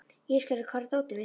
Ísgerður, hvar er dótið mitt?